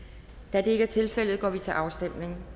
da det ikke er tilfældet går vi til afstemning